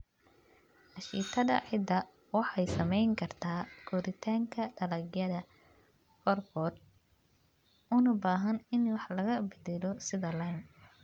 Ashitada ciidda waxay saameyn kartaa koritaanka dalagyada qaarkood, una baahan in wax laga beddelo sida lime.